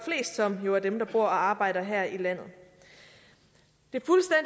som jo er dem der bor og arbejder her i landet det